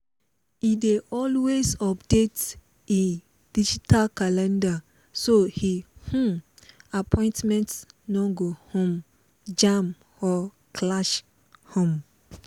e dey always update e digital calendar so e um appointments no go um jam or clash um